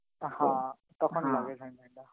হা তখন লাগে ঠাডা টা.